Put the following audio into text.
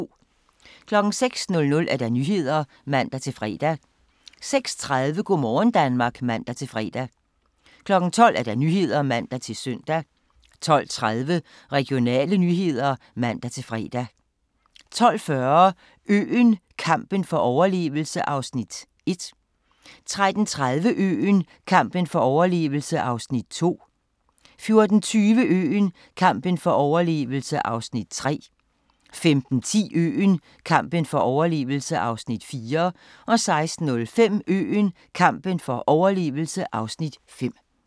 06:00: Nyhederne (man-fre) 06:30: Go' morgen Danmark (man-fre) 12:00: Nyhederne (man-søn) 12:30: Regionale nyheder (man-fre) 12:40: Øen – kampen for overlevelse (Afs. 1) 13:30: Øen - kampen for overlevelse (Afs. 2) 14:20: Øen - kampen for overlevelse (Afs. 3) 15:10: Øen – kampen for overlevelse (Afs. 4) 16:05: Øen – kampen for overlevelse (Afs. 5) 17:00: Nyhederne